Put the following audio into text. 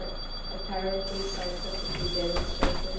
apparently scientifically demonstrated